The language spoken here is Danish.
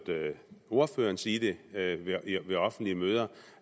ordføreren sige det ved offentlige møder